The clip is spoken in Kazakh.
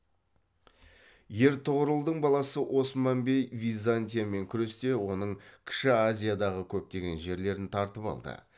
ертұғырылдың баласы осман бей византиямен күресте оның кіші азиядағы көптеген жерлерін тартып алды